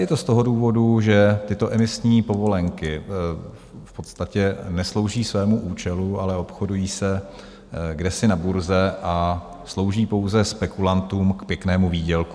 Je to z toho důvodu, že tyto emisní povolenky v podstatě neslouží svému účelu, ale obchodují se kdesi na burze a slouží pouze spekulantům k pěknému výdělku.